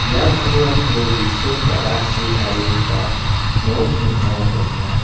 ia pulrangko gisim ba·rachi tarigipa nok ning·o donenga.